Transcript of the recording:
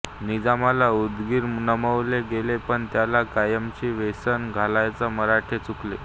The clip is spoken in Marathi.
निजामाला उदगिरात नमवले गेले पण त्याला कायमची वेसण घालायला मराठे चुकले